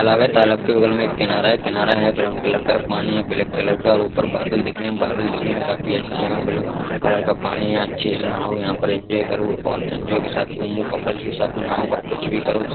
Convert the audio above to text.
तालाब है तालाब के बगल में एक किनारा है| किनारा है ब्राउन कलर का पानी है ब्लेक कलर का और ऊपर बादल दिख रहे हैं| बादल काफी अच्छे हैं और ब्लू कलर का पानी है| अच्छे से नहाओ यहाँ पे एनजोये करो और एनजोये के साथ घूमो कपल के साथ नहाओ और कुछ भी करो।